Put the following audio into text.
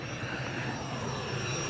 İndi sürəti biraz aşağıdır.